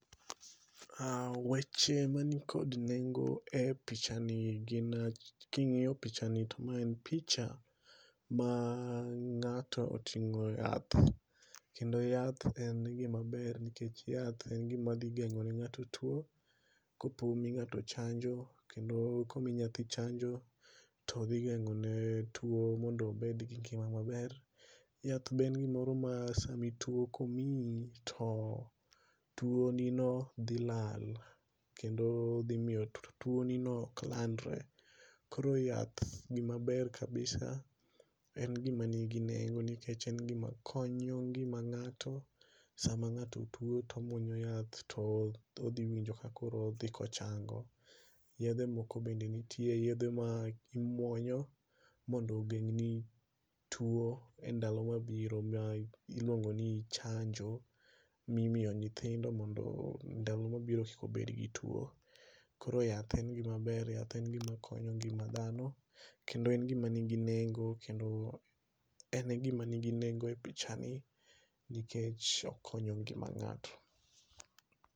Weche man kod nego e pichani gin king'iyo pichani to ma en picha ma ng'ato oting'o yath kendo yath en gimaber nikech yath en gima dhi geng'o ne ng'ato tuo. Kopo mi ng'ato chanjo kendo omi nyathi chanjo todhi geng'o ne chanjo mondo obed gi ngima maber. Yath be en gimoro ma sami tuo komiyi to tuo no dhi lal kendo dhi miyo tuo ni no ok landre. Koro yath ni mabeer kabisa en gima nigi nengo nikech en gima konyo ngima ng'ato sama ng'ato tuo tomuonyo yath todhi winjo ka akoro odhi kochango yedhe moko yedhe ma imuonyo mondo ogeng' ni tuo endalo mabiro ma iluongo ni chanjo, mimiyo nyithindo mondo ndalo mabiro kik obed gi tuo. Koro yath en gima ber yath en gima konyo ngima dhano kendo en gima nigi nengo kendo en gima nigi nengo e pichani nikech okonyo ngima ng'ato.